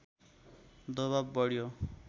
दवाब बढ्यो